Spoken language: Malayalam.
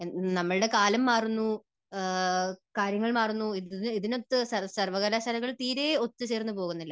നമ്മുടെ കാലം മാറുന്നു, കാര്യങ്ങൾ മാറുന്നു ഇതിനൊത്ത് സർവകലാശാലകൾ തീരെ ഒത്തുചേർന്നു പോകുന്നില്ല.